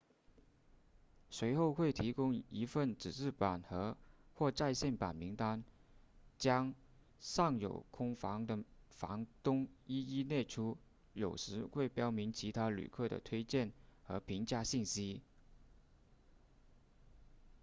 随后会提供一份纸质版和或在线版名单将尚有空房的房东一一列出有时会标明其他旅客的推荐和评价信息